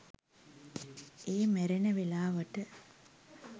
ඒ මැරෙන වෙලාවට